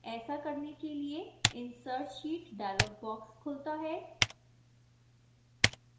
ऐसा करने के लिए insert sheet dialog box खुलता है